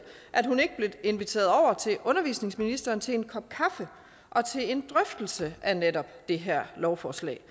at hun ikke blev inviteret over til undervisningsministeren til en kop kaffe og til en drøftelse af netop det her lovforslag